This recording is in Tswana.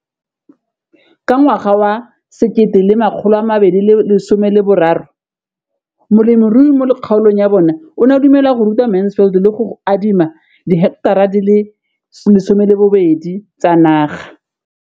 Ka ngwaga wa 2013, molemirui mo kgaolong ya bona o ne a dumela go ruta Mansfield le go mo adima di heketara di le 12 tsa naga.